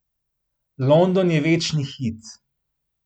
London je večni hit.